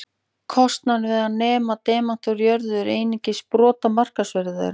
Kostnaður við að nema demanta úr jörðu er einungis brot af markaðsverði þeirra.